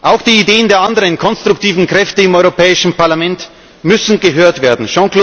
Auch die Ideen der anderen konstruktiven Kräfte im Europäischen Parlament müssen gehört werden.